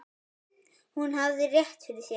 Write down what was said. Hún hafði rétt fyrir sér.